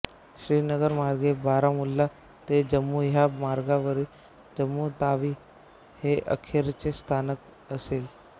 श्रीनगर मार्गे बारामुल्ला ते जम्मू ह्या मार्गावरील जम्मू तावी हे अखेरचे स्थानक असेल